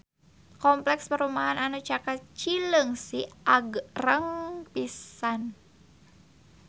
Kompleks perumahan anu caket Cileungsi agreng pisan